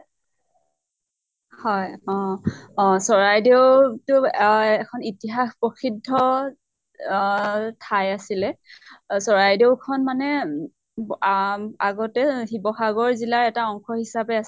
হয়। অ অ চৰাইদেউ টো অহ এখন ইতিহাস প্ৰসিদ্ধ অহ ঠাই আছিলে। চৰাইদেউ খন মানে ব আ আগতে শিৱ্সাগৰ জিলাৰ এটা অংশ হিচাপে আছিল।